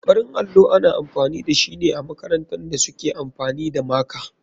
Farin allo ana amfani dashine amakarantan da suke amfani da maka.